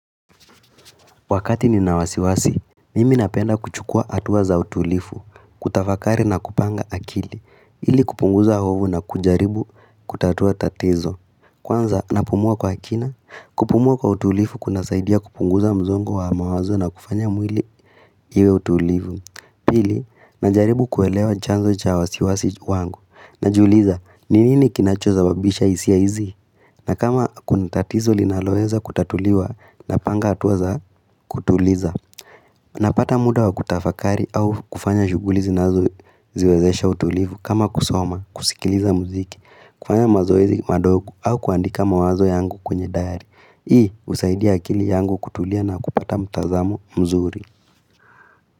Wakati nina wasiwasi, mimi napenda kuchukua hatua za utulivu, kutafakari na kupanga akili, ili kupunguza hofu na kujaribu kutatua tatizo. Kwanza, napumua kwa kina, kupumua kwa utulivu kunasaidia kupunguza msongo wa mawazo na kufanya mwili iwe tulivu. Pili, najaribu kuelewa chanzo cha wasiwasi wangu, najiuliza, ni nini kinachosababisha hisia hizi, na kama kuna tatizo linaloweza kutatuliwa, napanga hatua za kutuliza. Napata muda wakutafakari au kufanya shughuli zinazo ziwezesha utulivu, kama kusoma, kusikiliza muziki, kufanya mazoezi madogo au kuandika mawazo yangu kwenye diary Hii, husaidia akili yangu kutulia na kupata mtazamo mzuri.